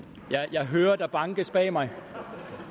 jeg hører at der bankes bag mig